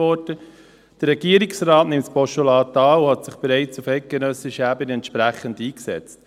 Der Regierungsrat nimmt das Postulat an und hat sich auf eidgenössischer Ebene bereits entsprechend eingesetzt.